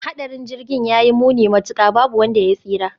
Hadarin Jirgin ya yi muni matuka, babu wanda ya tsira.